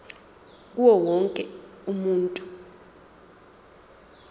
kuwo wonke umuntu